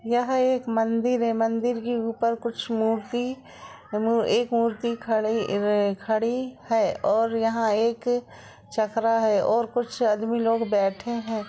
यह एक मंदिर है। मंदिर के ऊपर कुछ मूर्ति ए एक मूर्ति खड़ी एव खड़ी है और यहाँ एक चकरा है और कुछ आदमी लोग बैठे हैं।